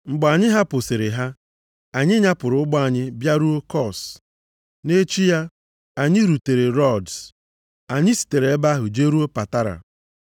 Mgbe anyị hapụsịrị ha, anyị nyapụrụ ụgbọ anyị bịaruo Kos. Nʼechi ya, anyị rutere Rods. Anyị sitere nʼebe ahụ jeruo Patara.